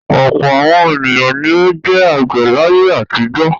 Ọ̀pọ̀ àwọn ènìyàn ni ó jẹ́ àgbẹ̀ láyé àtijọ́.